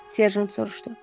Serjant soruşdu.